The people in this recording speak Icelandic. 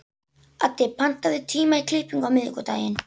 Addi, pantaðu tíma í klippingu á miðvikudaginn.